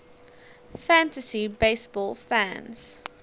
fantasy baseball fans